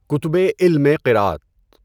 کُتُبِ علمِ قراءت